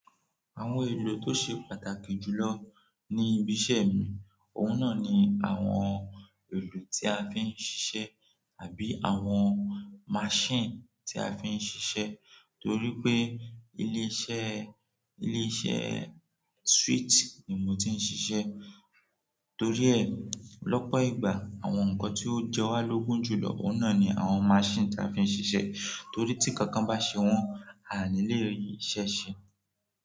Àwọn èlò tó ṣe pàtàkì jù lọ ní ibi iṣẹ́ mi, òun náà ni àwọn èlò tí a fi ń ṣiṣẹ́ tàbí àwọn machine tí a fi ń ṣiṣẹ́. Torí pé ilé iṣẹ́, ilé iṣẹ́ sweet ni mo ti ń ṣiṣẹ́, torí ẹ lọ́pọ̀ ìgbà àwọn nǹkan tí ó jẹ wá lógún jù lọ, òun náà ni àwọn machine tí a fi ń ṣiṣẹ́. Torí tí kankan bá ṣe wọ́n, a à ní lè rí iṣẹ́ ṣe.